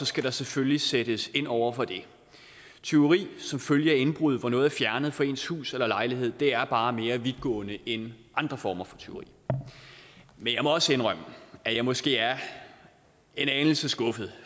skal der selvfølgelig sættes ind over for det tyveri som følge af indbrud hvor noget er fjernet fra ens hus eller lejlighed er bare mere vidtgående end andre former for tyveri men jeg må også indrømme at jeg måske er en anelse skuffet